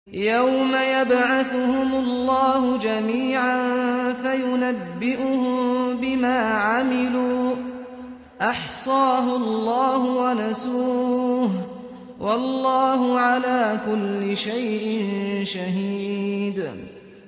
يَوْمَ يَبْعَثُهُمُ اللَّهُ جَمِيعًا فَيُنَبِّئُهُم بِمَا عَمِلُوا ۚ أَحْصَاهُ اللَّهُ وَنَسُوهُ ۚ وَاللَّهُ عَلَىٰ كُلِّ شَيْءٍ شَهِيدٌ